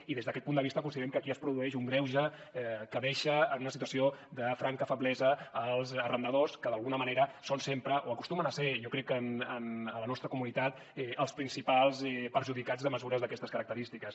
i des d’aquest punt de vista considerem que aquí es produeix un greuge que deixa en una situació de franca feblesa els arrendadors que d’alguna manera són sempre o acostumen a ser jo crec en la nostra comunitat els principals perjudicats de mesures d’aquestes característiques